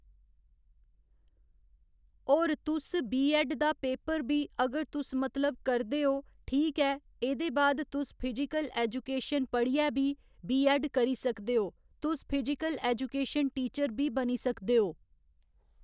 और तुस B. Ed दा पेपर बी अगर तुस मतलब करदे ओ ठीक ऐ एह्दे बाद तुस फिजिकल ऐजुकेशन पढ़ियै बी, बी ऐड्ड करी सकदे ओ तुस फिजिकल ऐजुकेशन टीचर बी बनी सकदे ओ